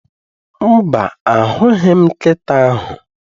Mba, ahụghị m nkịta ahụ